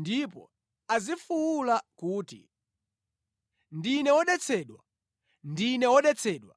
ndipo azifuwula kuti, ‘Ndine wodetsedwa, ndine wodetsedwa!’